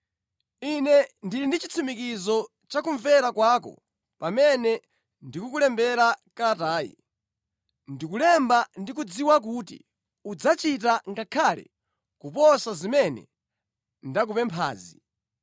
Ine ndili ndi chitsimikizo cha kumvera kwako pamene ndikukulembera kalatayi. Ndikulemba ndikudziwa kuti udzachita ngakhale kuposa zimene ndakupemphazi.